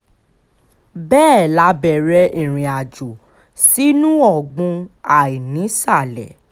bẹ́ẹ̀ la bẹ̀rẹ̀ ìrìnàjò sínú ọ̀gbun àìnísàlẹ̀